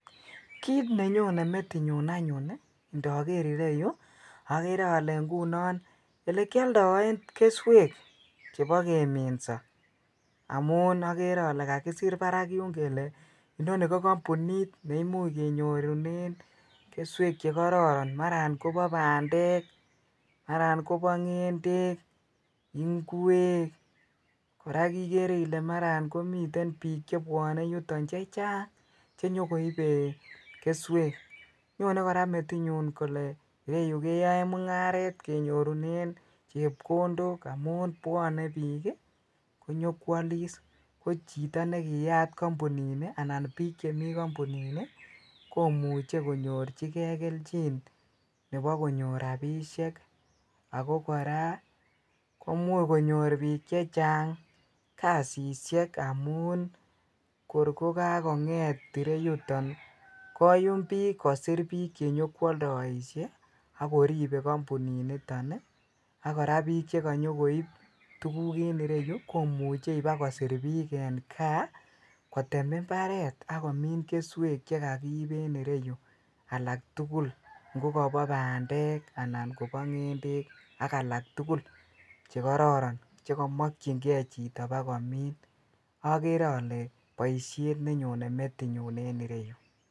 Kiit nenyone metinyun anyun ndoker ireyu okere olee ng'unon elekioldoen keswek chebo keminso amun okere olee kakisir barak yuun kelee inonii ko kombunit neimuch kenyorunen keswek chekororon maran kobo bandek, Maran kobo ng'endek, ing'wek, korak ikere ilee Maran komiten biik chebwone yuton chechang chenyokoibe keswek, nyone kora metinyun kole ireyu keyoen mung'aret kenyorunen chepkondok amun bwone biik konyokwolis ko chito nekiyat kombunini anan biik chemii kombunini komuche konyorchike kelchin nebokonyor rabishek ak ko kora komuch konyor biik chechang kasisyek amun kor ko kakong'et ireyuton koyum biik kosir biik chenyokwoldoishe ak koribe kombuniniton ak kora biik chekonyokoib tukuk en ireyu komuche ibakosir biik en kaa kotem imbaret ak komin keswek chekokiib en ireyu alak tukul ng'o Kobo bandek anan kobo ng'endek ak alak tukul chekororon chekomokying'e chito bakomin, okere olee boishet nenyone metinyun en ireyu.